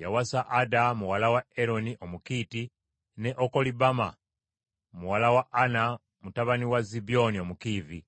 Yawasa Ada muwala wa Eroni Omukiiti, ne Okolibama muwala wa Ana mutabani wa Zibyoni Omukiivi,